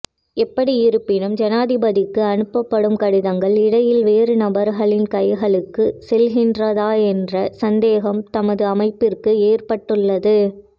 எப்படியிருப்பினும் ஜனாதிபதிக்கு அனுப்பப்படும் கடிதங்கள் இடையில் வேறு நபர்களின் கைகளுக்கு செல்கின்றதா என்ற சந்தேகம் தமது அமைப்பிற்கு ஏற்பட்டுள்ளது